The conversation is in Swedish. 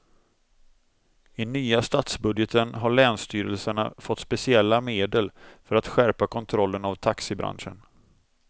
I nya statsbudgeten har länsstyrelserna fått speciella medel för att skärpa kontrollen av taxibranschen.